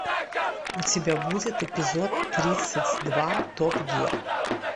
у тебя будет эпизод тридцать два топ гир